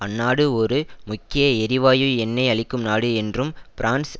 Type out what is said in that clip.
அந்நாடு ஒரு முக்கிய எரிவாயு எண்ணெய் அளிக்கும் நாடு என்றும் பிரான்ஸ்